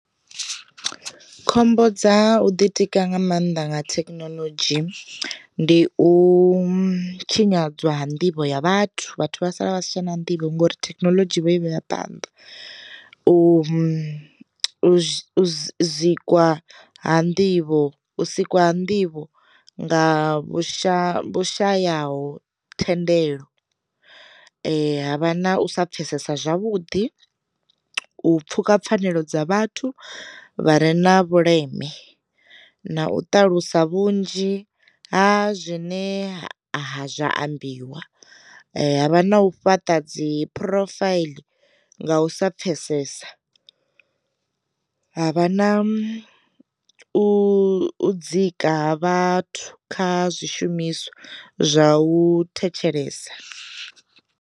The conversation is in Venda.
Khombo dza u ḓitika nga maanḓa nga thekinoḽodzhi ndi u tshinyadzwa ha nḓivho ya vhathu vhathu vha sala vha sa tsha na nḓivho ngori thekinoḽodzhi vho ivhe ya phanḓa, u mu uzikwa ha nḓivho, u sikwa nḓivho nga vhushaya shayaho thendelo, ha vha na u sa pfesesa zwavhuḓi, u pfhuka pfhanelo dza vhathu vha re na vhuleme, na u ṱalusa vhunzhi ha zwine ha zwa ambiwa, havha na u fhaṱa dzi profile nga u sa pfhesesa, havha na u u dzika ha vhathu kha zwishumiswa zwa u thetshelesa.